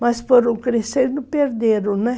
Mas foram crescendo, perderam, né?